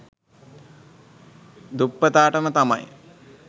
දුප්පතාටම තමයි.